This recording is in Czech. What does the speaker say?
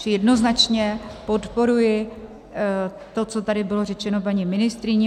Čili jednoznačně podporuji to, co tady bylo řečeno paní ministryní.